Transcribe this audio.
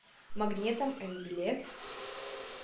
магнетом м билет